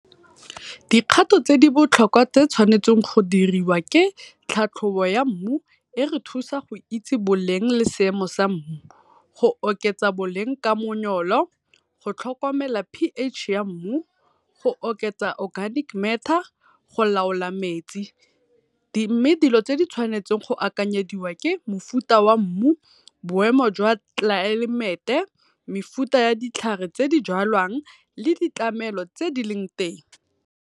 Dikgato tse di botlhokwa tse tshwanetseng tse di tshwanetseng go diriwa ke tlhatlhobo ya mmu e re thusa go itse boleng le seemo sa mmu. Go oketsa boleng ka go tlhokomela p_H ya mmu, go oketsa organic matter go laola metsi. mme dilo tse di tshwanetsweng go akanyediwa ke mofuta wa mmu, boemo jwa tlelaemete, mofuta wa ditlhare tse di jalwang le di tlamelo tse di leng teng.